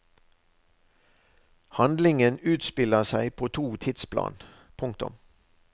Handlingen utspiller seg på to tidsplan. punktum